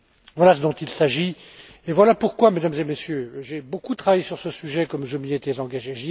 Voilà ce dont il s'agit et voilà pourquoi, Mesdames et Messieurs, j'ai beaucoup travaillé sur ce sujet comme je m'y étais engagé.